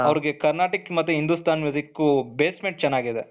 ಅವರಿಗೆ ಕರ್ನಾಟಕ್ ಮತ್ತೆ ಹಿಂದುಸ್ತಾನ್ basement ತ ಚೆನ್ನಾಗಿದೆ.